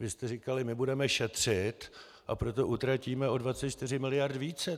Vy jste říkali: "My budeme šetřit, a proto utratíme o 24 mld. více."